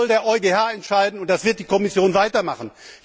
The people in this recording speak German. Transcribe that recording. Das soll der EuGH entscheiden, und das wird die Kommission weitermachen.